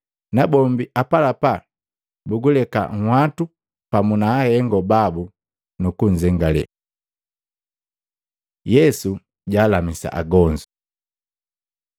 nabombi apalapa buguleka nhwatu pamu na ahengo babu, nukunzengale. Yesu jaalamisa agonzu Luka 6:17-19